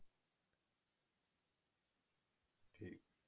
ਠੀਕ